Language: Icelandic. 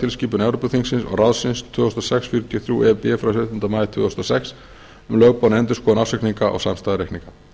evrópuþingsins og ráðsins tvö þúsund og sex fjörutíu og þrjú e b frá sautjándu maí tvö þúsund og sex um lögboðna endurskoðun ársreikninga og samstæðureikninga